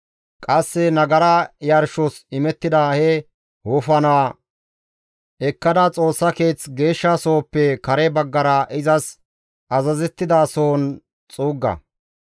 Qasse nagara yarshos imettida he wofanaa ekkada, Xoossa Keeththa gididi, geeshsha sohoppe kare baggara izas azazettida sohon xuugga.